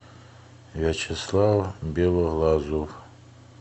вячеслав белоглазов